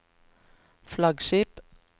flaggskip